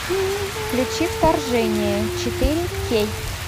включи вторжение четыре кей